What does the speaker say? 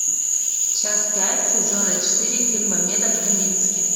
часть пять сезона четыре фильма метод камински